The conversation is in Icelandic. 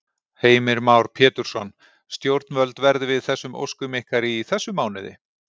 Heimir Már Pétursson: Stjórnvöld verði við þessum óskum ykkar í þessum mánuði?